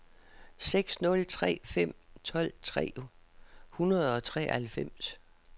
seks nul tre fem tolv tre hundrede og treoghalvfems